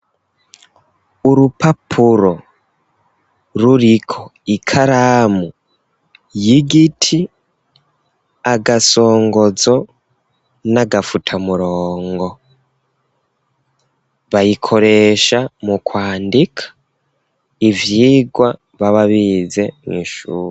Urupapuro ruriko ikaramu y'igiti agasongozo n'agafutamurongo bayikoresha mu kwandika ivyigwa baba bize mw'ishuri.